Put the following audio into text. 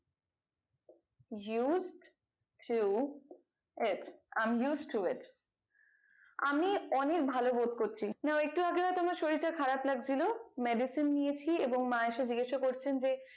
use to it i am use to it আমি অনেক ভালো বোধ করছি নাও একটু আগে তোমার শরীরটা খারাপ লাগছিলো medicine নিয়েছি এবং মা এসে জিজ্ঞাসা করছেন যে